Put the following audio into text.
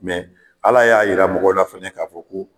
Ala y'a yira mɔgɔ la fɛnɛ k'a fɔ ko